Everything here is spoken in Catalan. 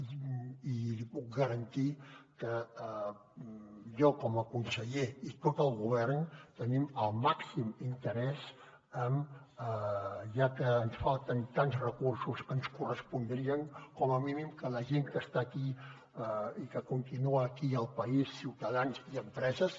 i li puc garantir que jo com a conseller i tot el govern tenim el màxim interès en ja que ens falten tants recursos que ens correspondrien com a mínim que la gent que està aquí i que continua aquí al país ciutadans i empreses